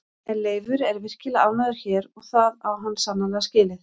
En Leifur er virkilega ánægður hér og það á hann sannarlega skilið.